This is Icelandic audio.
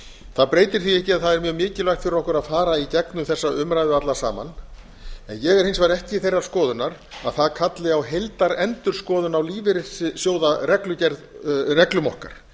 það breytir því ekki að það er mjög mikilvægt fyrir okkur að fara í gegnum þessa umræðu alla saman en ég er hins vegar ekki þeirrar skoðunar að það kalli á heildarendurskoðun á lífeyrissjóðareglum okkar